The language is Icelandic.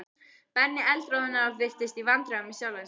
Benni eldroðnaði og virtist í vandræðum með sjálfan sig.